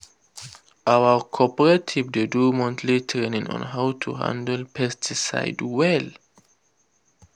our cooperative dey do monthly training on how to handle pesticide well.